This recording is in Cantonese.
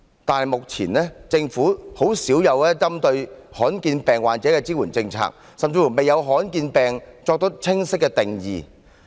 但是，目前政府針對罕見病患者的支援政策很少，政府甚至未有為罕見疾病作出清晰的定義。